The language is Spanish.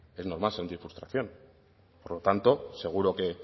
es normal sentir frustración por lo tanto seguro que